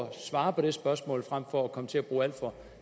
at svare på det spørgsmål frem for at komme til at bruge alt for